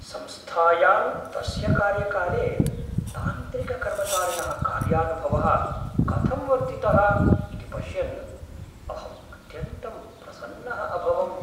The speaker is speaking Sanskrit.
संस्थायां तस्य कार्यकाले तान्त्रिककर्मचारिणः कार्यानुभवः कथं वर्धितः इति पश्यन् अहं अत्यन्तं प्रसन्नः अभवम्।